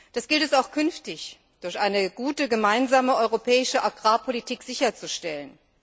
Das gilt es auch künftig durch eine gute, gemeinsame europäische Agrarpolitik sicherzustellen.